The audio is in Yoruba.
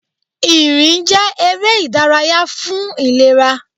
Ìrìn jẹ́ eré ìdárayá fún ìlera.